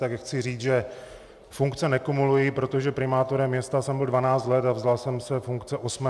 Tak chci říct, že funkce nekumuluji, protože primátorem města jsem byl 12 let a vzdal jsem se funkce 8. ledna.